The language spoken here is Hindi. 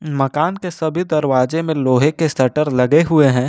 मकान के सभी दरवाजे में लोहे के शटर लगे हुए हैं।